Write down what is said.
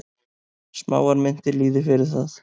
Smáar myntir lýði fyrir það.